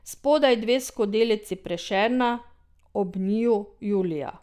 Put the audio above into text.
Spodaj dve skodelici Prešerna, ob njiju Julija.